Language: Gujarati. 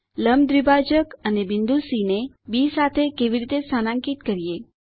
લંબ દ્વિભાજક અને બિંદુ સી ને બી સાથે કેવી રીતે સ્થાનાકિત કરીએ